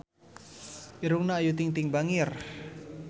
Irungna Ayu Ting-ting bangir